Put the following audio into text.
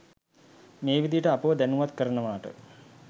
මේ විදිහට අපව දැනුවත් කරනවාට